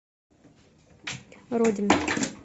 родин